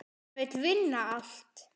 Hann vill vinna allt.